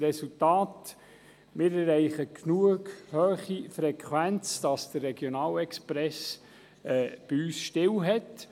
Resultat: Wir erreichen eine genügend hohe Frequenz, damit der Regionalexpress bei uns Halt macht.